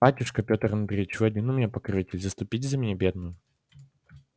батюшка пётр андреич вы один у меня покровитель заступитесь за меня бедную